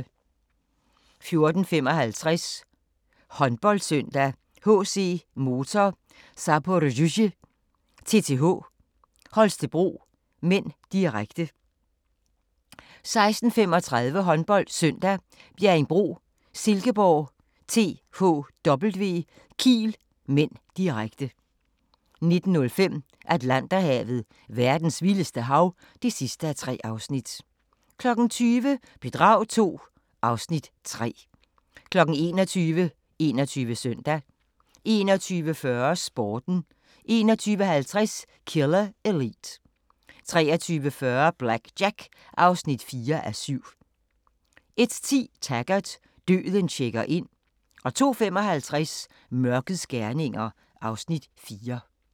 14:55: HåndboldSøndag: HC Motor Zaporozhye-TTH Holstebro (m), direkte 16:35: HåndboldSøndag: Bjerringbro Silkeborg-THW Kiel (m), direkte 19:05: Atlanterhavet: Verdens vildeste hav (3:3) 20:00: Bedrag II (Afs. 3) 21:00: 21 Søndag 21:40: Sporten 21:50: Killer Elite 23:40: BlackJack (4:7) 01:10: Taggart: Døden checker ind 02:55: Mørkets gerninger (Afs. 4)